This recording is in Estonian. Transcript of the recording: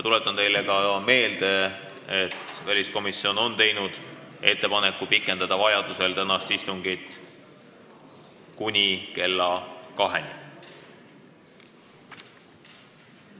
Tuletan ka meelde, et väliskomisjon on teinud ettepaneku pikendada vajadusel tänast istungit kuni kella 14-ni.